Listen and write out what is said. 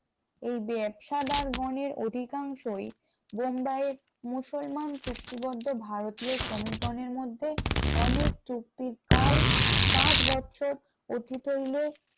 এই ব্যবসাদার গনের অধিকাংশই বোম্বাইয়ের মুসলমান চুক্তিবদ্ধ ভারতীয় শ্রমিক গণের মধ্যে অনেক চুক্তির কাল পাঁচ বছর অতীত হইলে।